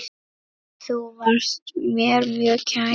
Þú varst mér mjög kær.